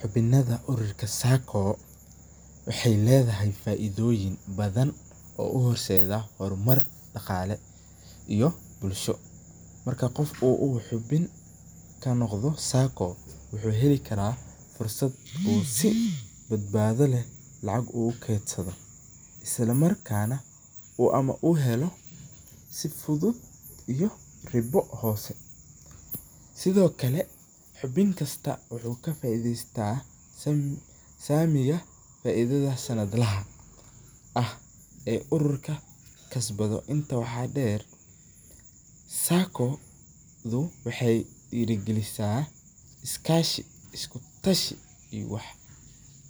Xubinatha ururka sacco waxay Leethahay faithoyrn bathan oo u hrsetha hormar daqale iyo bulsho, marka qoofka xubin kanaqdoh sacco waxy heli karah Fursat oo si bathabatha leeh lacag ugu keetsadoh , isala markana amah oo heloh sufuthut amah riba hufan sethokali xubinkasta waxu kafairheystah samika faithatha santlaha aah ee ururka kasbathoh ee inta waxa deer sacco waxa deerikalisah iskashi iskutashi iyo wax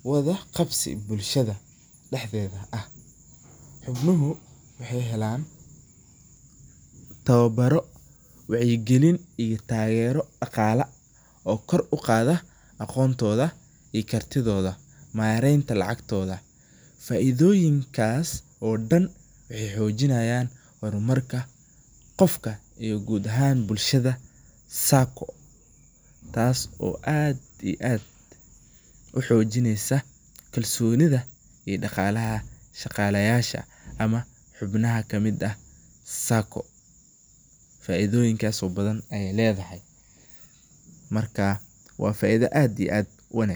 wathaqabsi bulshada daxdetha aah, gulobo waxay helan tawabaro wacyi kalin tageeroh daqala oo kor u qathah aqontotha iyo kartithotha mareyn inta lacagtitha faithoyinkas oo dhan waxay xoojinayan hormarka qoofka iyo goot ahaan bulshada sacoo taas oo aad iyo aad u xoojineysah kalsonitha iyo daqalaha shqalayasha, amah xubnaha kamit aah sacco faithoyinkas oo bathan aya leedahay marka wa faitha aad iyo aad u wanagsan.